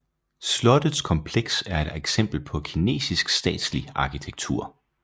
Slottets kompleks er et eksempel på Kinesisk statslig arkitektur